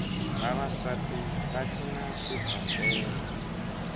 vavasati va cina xigombela